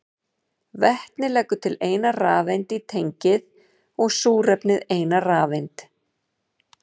Vetnið leggur til eina rafeind í tengið og súrefnið eina rafeind.